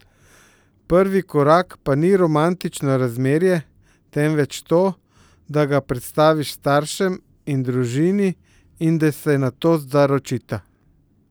Prvi korak pa ni romantično razmerje, temveč to, da ga predstaviš staršem in družini in da se nato zaročita.